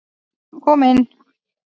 Kom inn.